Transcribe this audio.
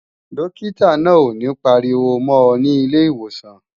Dókítà náà ò ní pariwo mọ́ ọ nílé ìwòsàn